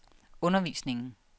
undervisningen